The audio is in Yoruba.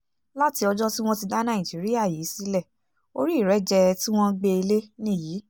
láti ọjọ́ tí wọ́n ti dá nàìjíríà yìí sílẹ̀ orí ìrẹ́jẹ tí wọ́n gbé e lé nìyí